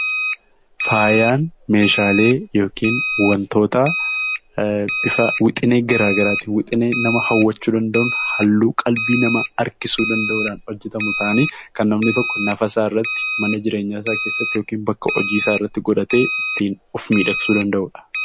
Faayaan meeshaalee yookiin wantoota bifa wixinee garaa garaatiin, wixinee nama hawwachuu danda'uun, halluu qalbii namaa harkisuu danda'uudhaan hojjetamu ta'anii, kan namni tokko nafasaa irratti, mana jireenya isaa keessatti yookiin bakka hojiirratti godhatee ittiin of miidhagsuu danda'udha.